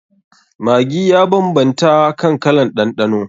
Maggi ya banbanta kan kalan ɗanɗano.